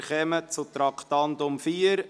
Wir kommen zum Traktandum 4: «